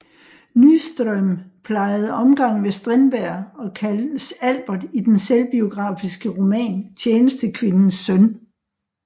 Nyström plejede omgang med Strindberg og kaldes Albert i den selvbiografiske roman Tjenestekvindens søn